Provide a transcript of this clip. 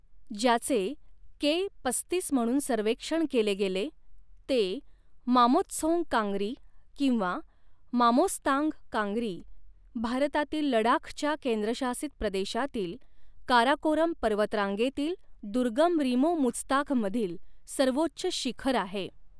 ज्याचे के पस्तीस म्हणून सर्वेक्षण केले गेले, ते मामोस्तोंग कांगरी किंवा मामोस्तांग कांगरी, भारतातील लडाखच्या केंद्रशासित प्रदेशातील काराकोरम पर्वतरांगेतील दुर्गम रिमो मुझताघमधील सर्वोच्च शिखर आहे.